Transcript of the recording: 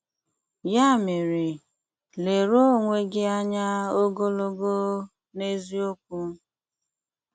Ya mere, leruo onwe gị anya ogologo na eziokwu.